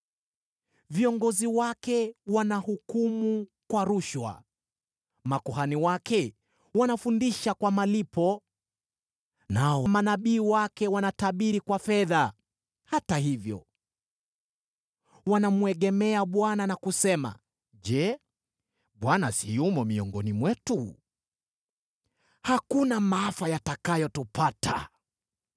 Viongozi wake wanahukumu kwa rushwa, na makuhani wake wanafundisha kwa malipo, nao manabii wake wanatabiri kwa fedha. Hata hivyo wanamwegemea Bwana na kusema, “Je, Bwana si yumo miongoni mwetu? Hakuna maafa yatakayotupata.”